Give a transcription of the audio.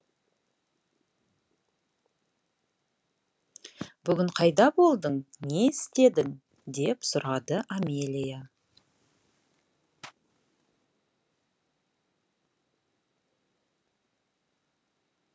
бүгін қайда болдың не істедің деп сұрады амелия